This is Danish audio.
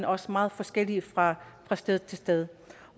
også meget forskellig fra sted til sted